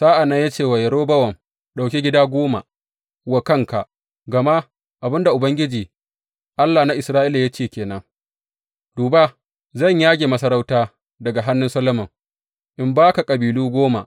Sa’an nan ya ce wa Yerobowam, Ɗauki gida goma wa kanka, gama abin da Ubangiji, Allah na Isra’ila ya ce ke nan, Duba, zan yage masarauta daga hannun Solomon in ba ka kabilu goma.